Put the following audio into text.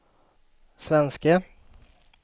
svenske